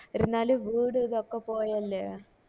ഇരുന്നാലു വീട് ഇതൊക്കെ പോയല്ലേ